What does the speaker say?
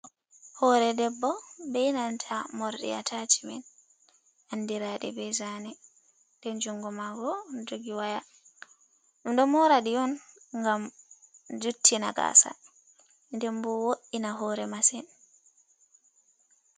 Hore ɗebbo bei nanta morɗi atachimen. Andiradi be zaane, nden jungo mako joggi waya. ɓe ɗo moradi on ngam juttina gasa ndenbo woyina hoore main.